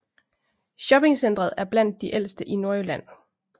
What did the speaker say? Shoppingcentret er blandt de ældste i Nordjylland